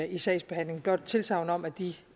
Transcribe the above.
i sagsbehandlingen blot et tilsagn om at de